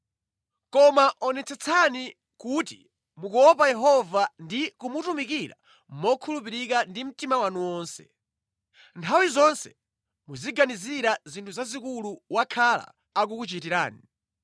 Koma onetsetsani kuti mukuopa Yehova ndi kumutumikira mokhulupirika ndi mtima wanu wonse. Nthawi zonse muziganizira zinthu zazikulu wakhala akukuchitirani.